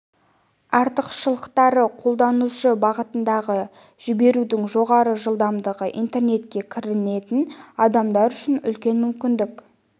артықшылықтары қолданушы бағытындағы жіберудің жоғары жылдамдығы интернетке кіретін адамдар үшін үлкен мүмкіндік